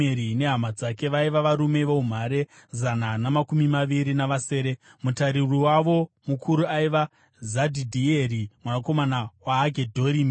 nehama dzake, vaiva varume voumhare, zana namakumi maviri navasere. Mutariri wavo mukuru aiva Zadhidhieri mwanakomana waHagedhorimi.